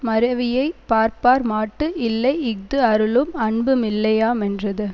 மறவியைப் பார்ப்பார் மாட்டு இல்லை இஃது அருளும் அன்பு மில்லையாமென்றது